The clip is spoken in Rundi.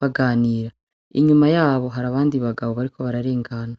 baganira, inyuma yabo hari abandi bagabo bariko bararengana.